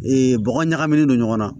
bɔgɔ ɲagaminen don ɲɔgɔnna